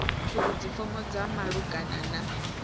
uri dzifomo dza malugana na